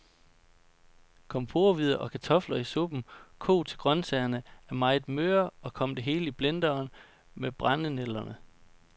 Kom porrehvider og kartofler i suppen, kog til grøntsagerne er meget møre, og kom det hele i blenderen med brændenælderne.